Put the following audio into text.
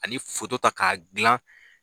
Ani ta k'a gilan